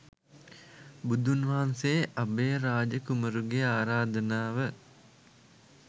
බුදුන් වහන්සේ අභයරාජ කුමරුගේ ආරාධනාව